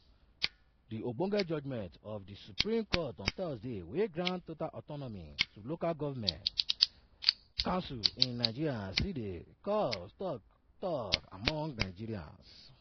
di ogbonge judgement of di supreme court on thursday wey grant total autonomy to local goment concils in nigeria still dey cause tok tok among nigerians.